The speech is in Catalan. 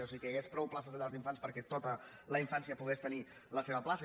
o sigui que hi hagués prou places de llars d’infants perquè tota la infància pogués tenir la seva plaça